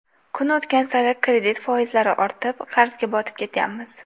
Kun o‘tgan sari kredit foizlari ortib, qarzga botib ketyapmiz.